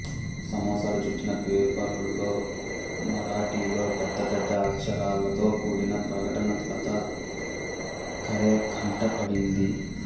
సమోసాలు చుట్టిన పేపరులో మరాఠీలో పెద్ద పెద్ద అక్షరాలతో కూడిన ప్రకటన లతా కరే కంట పడింది